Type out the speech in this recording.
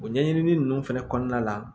O ɲɛɲinili ninnu fɛnɛ kɔnɔna la